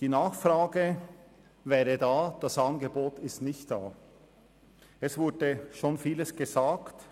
Die Nachfrage wäre vorhanden, nicht aber das entsprechende Angebot.